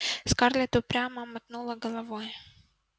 скарлетт упрямо мотнула головой